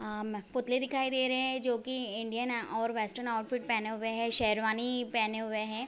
आम पुतले दिखाई दे रहे हैं जोकि इंडियन हैं और वेस्टर्न ऑउटफिट पहने हुए हैं। शेरवानी पहने हुए हैं।